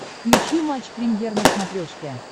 включи матч премьер на смотрешке